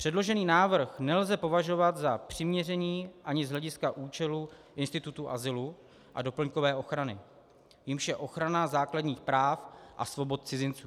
Předložený návrh nelze považovat za přiměřený ani z hlediska účelu institutu azylu a doplňkové ochrany, jímž je ochrana základních práv a svobod cizinců.